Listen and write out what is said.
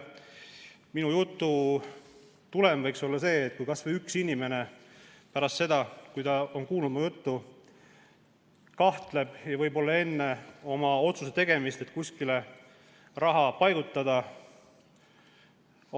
Minu jutu tulemus võiks olla see, et kas või üks inimene pärast seda, kui ta on kuulnud mu juttu, kahtleb, enne kui otsustab kuskile raha paigutada.